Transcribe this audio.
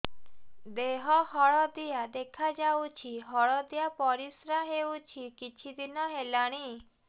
ଦେହ ହଳଦିଆ ଦେଖାଯାଉଛି ହଳଦିଆ ପରିଶ୍ରା ହେଉଛି କିଛିଦିନ ହେଲାଣି